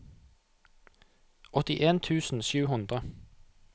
åttien tusen sju hundre